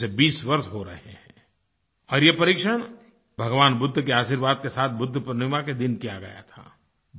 उसे 20 वर्ष हो रहे हैं और ये परीक्षण भगवान बुद्ध के आशीर्वाद के साथ बुद्ध पूर्णिमा के दिन किया गया था